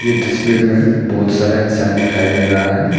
इतनी सी भीड़ में बहुत सारे इंसान दिखाई दे रहा है।